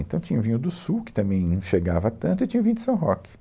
Então tinha o vinho do Sul, que também não chegava tanto, e tinha o vinho de São Roque.